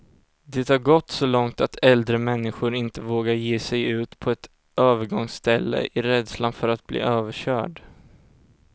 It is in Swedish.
Det har gått så långt att äldre människor inte vågar ge sig ut på ett övergångsställe, i rädslan för att bli överkörd.